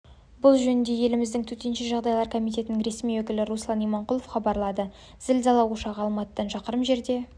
бұл жөнінде еліміздің төтенше жағдайлар комитетінің ресми өкілі руслан иманқұлов хабарлады зілзала ошағы алматыдан шақырым жерде